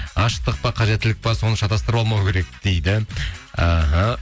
ғашықтық па қажеттілік пе соны шатастырып алмау керек дейді іхі